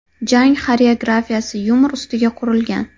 Jang xoreografiyasi yumor ustiga qurilgan.